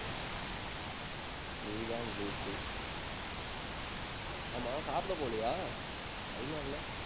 நீதான் லூசு. ஆமா, சாப்பிட போவலையா? time ஆகலை.